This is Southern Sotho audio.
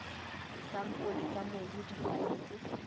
disampole tsa mobu di tshwanetse